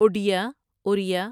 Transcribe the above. Odia Oriya